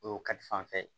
O kalifoye